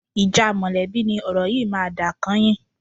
Ìjà mọ̀lẹ́bí ni ọ̀rọ̀ yìí máa dà kányìn